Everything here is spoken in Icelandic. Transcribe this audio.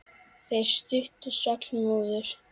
Þeirri stuttu svall móður.